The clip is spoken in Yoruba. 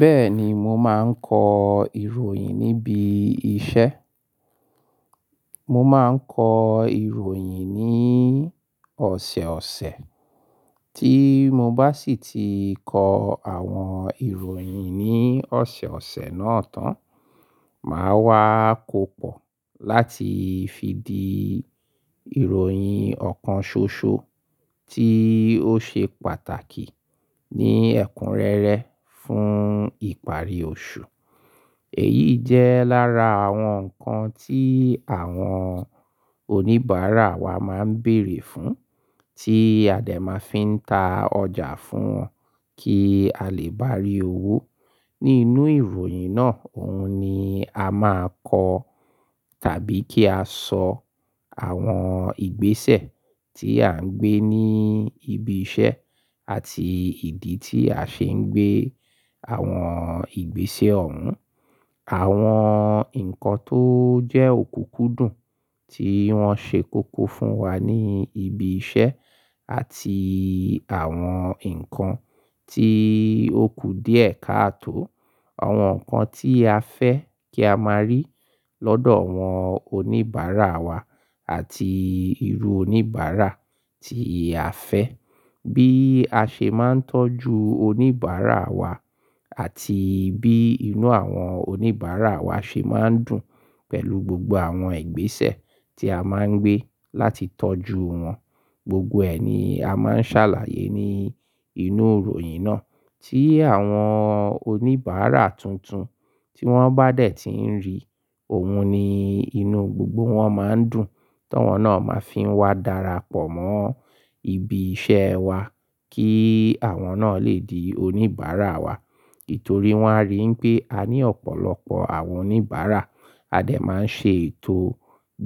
Bẹ́ẹ̀ni, mo máa ń kọ ìròyìn níbi iṣẹ́. Mo máa ń kọ ìròyìn ní ọ̀sẹ̀ ọ̀sẹ̀, tí mo bá sì ti kọ àwọn ìròyìn ní ọ̀sẹ̀ọ̀sẹ̀ náà tán, màá wá kó pọ̀ láti fi di ìròyìn ọ̀kan ṣoṣo tí ó ṣe pàtàkì ní ẹ̀kúnrẹ́rẹ́ fún ìparí oṣù. Èyí jẹ́ lára àwọn nǹkan tí àwọn oníbàárà wa máa ń bèèrè fún, tí a dẹ̀ máa fi ń ta ọjà fún wọn kí a lè bá rí owó. Nínú ìròyìn náà, òun ni a máa kọ tàbí kí a sọ àwọn ìgbésẹ̀ tí à ń gbé ní ibi iṣẹ́ àti ìdí tí a ṣe ń gbé àwọn ìgbésẹ̀ ọ̀ún. Àwọn nǹkan tó jẹ́ òkùkú dùn tí wọ́n ṣe kóko fún wa ní ibi iṣẹ́ àti àwọn nǹkan tí ó ku díẹ̀ káàtò. Àwọn nǹkan tí a fẹ́ kí a máa rí lọ́dọ̀ àwọn oníbàárà wa àti irú oníbàárà tí a fẹ́. Bí a ṣe máa ń tọ́jú oníbàárà wa àti bí inú àwọn oníbàárà wa ṣe máa ń dùn pẹ̀lú gbogbo àwọn ìgbésẹ̀ tí a máa ń gbé láti tọ́jú wọn. Gbogbo ẹ ni a máa ń ṣàlàyé ní inú ìròyìn náà tí àwọn oníbàárà tuntun tí wọ́n bá dè tí ń rí, òun ni inú gbogbo wọn máa ń dùn, ti awọn náà máa fi ń wá darapọ̀ mọ́ ibi iṣẹ́ wa kí àwọn náà lè di oníbàárà wa. Nítorí wọ́n a rí wipé a ní ọ̀pọ̀lọpọ̀ àwọn oníbàárà. Adé máa ń ṣe ètò